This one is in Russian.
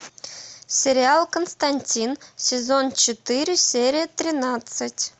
сериал константин сезон четыре серия тринадцать